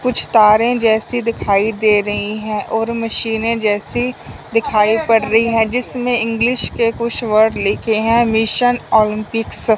कुछ तारें जैसी दिखाई दे रही हैं और मशीनें जैसी दिखाई पड़ रही हैं जिसमें इंग्लिश के कुछ वर्ड लिखे हैं मिशन ओलंपिक्स ।